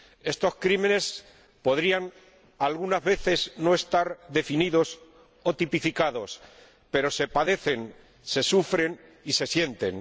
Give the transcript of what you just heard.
Estos delitos podrían, algunas veces, no estar definidos o tipificados, pero se padecen, se sufren y se sienten.